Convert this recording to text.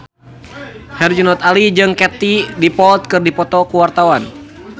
Herjunot Ali jeung Katie Dippold keur dipoto ku wartawan